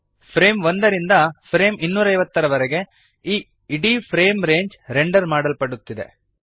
frame 1 ರಿಂದ frame 250 ವರೆಗೆ ಈ ಇಡೀ ಫ್ರೇಮ್ ರೇಂಜ್ ರೆಂಡರ್ ಮಾಡಲ್ಪಡುತ್ತಿದೆ